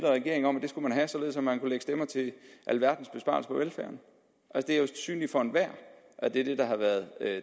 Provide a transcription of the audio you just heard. regering om at det skulle man have således at man kunne lægge stemmer til alverdens besparelser på velfærden det er jo synligt for enhver at det er det der har været